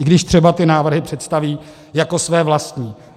I když třeba ty návrhy představí jako své vlastní.